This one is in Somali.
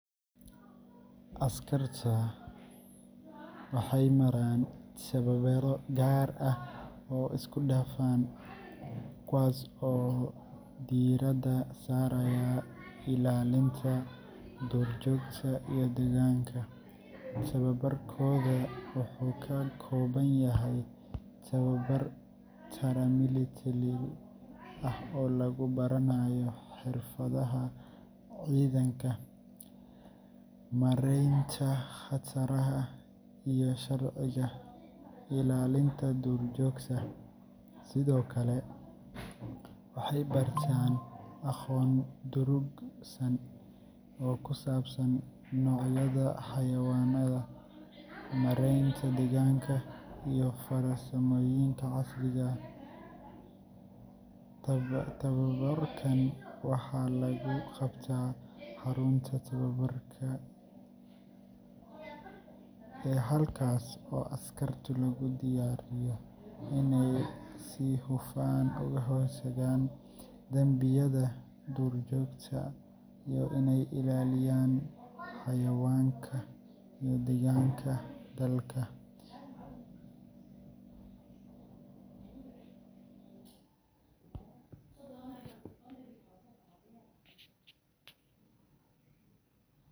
Askarta Kenya Wildlife Service waxay maraan tababarro gaar ah oo isku dhafan, kuwaas oo diiradda saaraya ilaalinta duurjoogta iyo deegaanka. Tababarkoodu wuxuu ka kooban yahay tababar paramilitary ah oo lagu baranayo xirfadaha ciidanka, maareynta khataraha, iyo sharciga ilaalinta duurjoogta. Sidoo kale, waxay bartaan aqoon durugsan oo ku saabsan noocyada xayawaanka, maaraynta deegaanka, iyo farsamooyinka casriga ah sida DNA forensics. Tababarkan waxaa lagu qabtaa xarunta tababarka ee Manyani, halkaas oo askarta lagu diyaariyo inay si hufan uga hortagaan dambiyada duurjoogta iyo inay ilaaliyaan xayawaanka iyo deegaanka dalka.